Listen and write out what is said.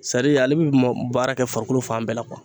Sadi ale bi mɔ baara kɛ farikolo fan bɛɛ la .